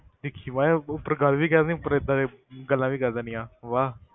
ਦੇਖੀ ਬਸ ਉੱਪਰ ਗੱਲ ਵੀ ਕਹਿ ਦਿੰਦੀ ਉੱਪਰ ਏਦਾਂ ਗੱਲਾਂ ਵੀ ਕਰ ਦਿੰਦੀ ਆ, ਵਾਹ।